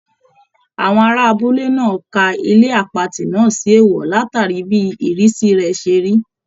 Àwọn ará abúlé náà ka ilé àpatì náà sí èèwọ̀ látàrí bí ìrísí rẹ̀ ṣe rí